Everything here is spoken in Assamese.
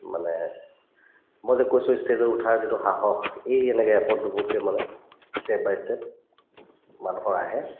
মানে মই যে কৈছো ই stage ত উঠাৰ যিটো সাহস এই এনেকে এপদ দুপদকে মানে step by step মানুহৰ আহে